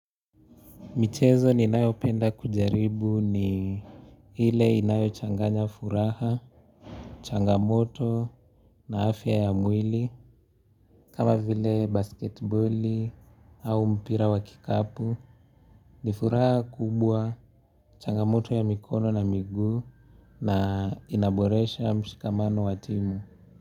Michezo ninayopenda kujaribu ni ile inayochanganya furaha, changamoto na afya ya mwili kama vile basketiboli au mpira wa kikapu ni furaha kubwa changamoto ya mikono na miguu na inaboresha mshikamano wa timu.